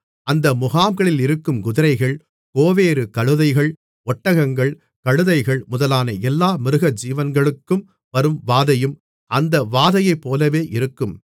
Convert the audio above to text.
அந்த முகாம்களில் இருக்கும் குதிரைகள் கோவேறு கழுதைகள் ஒட்டகங்கள் கழுதைகள் முதலான எல்லா மிருகஜீவன்களுக்கும் வரும் வாதையும் அந்த வாதையைப்போலவே இருக்கும்